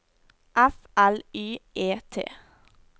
F L Y E T